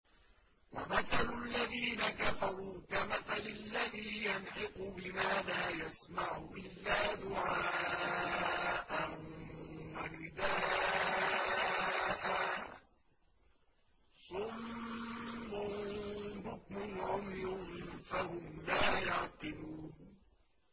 وَمَثَلُ الَّذِينَ كَفَرُوا كَمَثَلِ الَّذِي يَنْعِقُ بِمَا لَا يَسْمَعُ إِلَّا دُعَاءً وَنِدَاءً ۚ صُمٌّ بُكْمٌ عُمْيٌ فَهُمْ لَا يَعْقِلُونَ